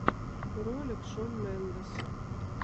ролик шон мендес